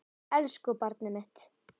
Elsku barnið mitt.